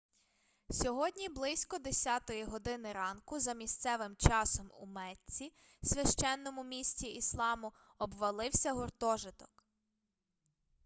сьогодні близько 10 години ранку за місцевим часом у мецці священному місті ісламу обвалився гуртожиток